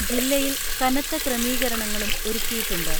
ജില്ലയിൽ കനത്ത ക്രമീകരണങ്ങളും ഒരുക്കിയിട്ടുണ്ട്.